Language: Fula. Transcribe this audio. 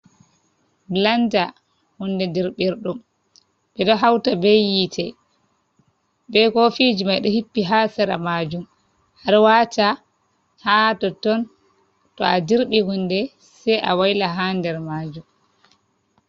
Blanda hunde dirbirdum ,bedo hauta be yite be ko fiji mai do hippi ha sera majum harwata ha totton to a dirbi hunde sei a waila ha nder majum.